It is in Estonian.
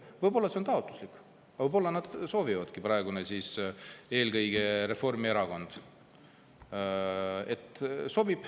Võib-olla see on taotluslik, võib-olla nad seda soovivadki, eelkõige Reformierakond.